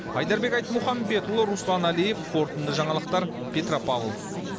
айдарбек айтмұхамбетұлы руслан әлиев қорытынды жаңалықтар петропавл